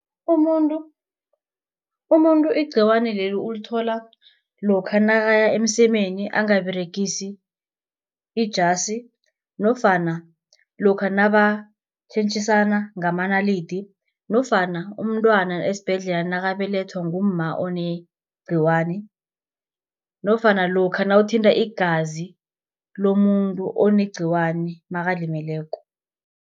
Umuntu igciwani leli ulithola lokha nakaya emsemeni angaberegisi ijasi, nofana lokha nabatjhentjhisana ngamanalidi, nofana umntwana esibhedlela nakabelethwa ngumma onegciwane, nofana lokha nawuthinta igazi lomuntu onegciwane makalimeleko.